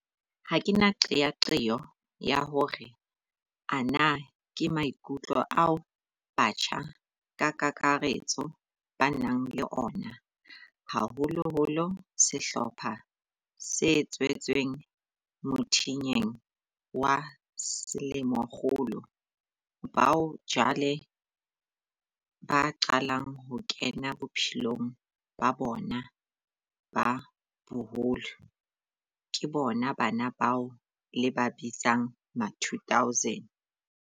Ha ke na qeaqeo ya hore ana ke maikutlo ao batjha ka kakaretso ba nang le ona, haholoholo sehlopha se tswetsweng mothinyeng wa selemokgolo, bao jwale ba qalang ho kena bophelong ba bona ba boholo, ke bona bana bao le ba bitsang ma2000.